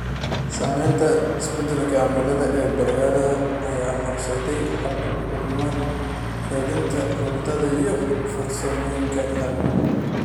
Saamaynta isbeddelka cimilada ee beeralayda ayaa horseedaya hal-abuurnimada kaydinta cuntada iyo farsamooyinka ilaalinta.